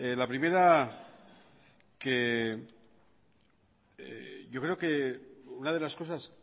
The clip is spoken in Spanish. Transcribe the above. la primera yo creo que una de las cosas